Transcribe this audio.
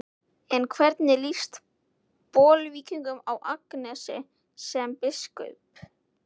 En hvernig líst Bolvíkingum á Agnesi sem biskup?